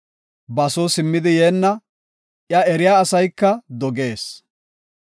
Ba soo simmidi yeenna; iya eriya asayka dogees.